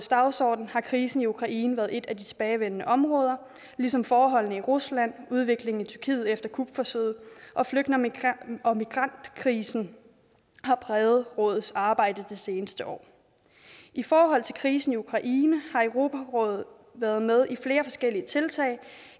dagsorden har krisen i ukraine været et tilbagevendende område ligesom forholdene i rusland udviklingen i tyrkiet efter kupforsøget og flygtninge og migrantkrisen har præget rådets arbejde det seneste år i forhold til krisen i ukraine har europarådet været med i flere forskellige tiltag